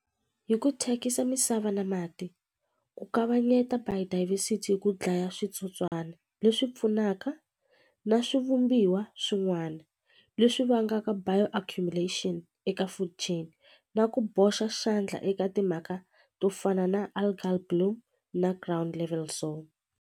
Hi ku thyakisa misava na mati ku kavanyeta biodiversity hi ku dlaya switsotswana leswi pfunaka na swivumbiwa swin'wana leswi vangaka bioaccumulation eka food chain na ku boxa xandla eka timhaka to fana na algal bloom na ground level .